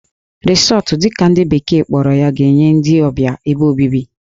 Resort' dị ka ndị bekee kpọrọ ya ga-enye ndị ọbịa ebe obibi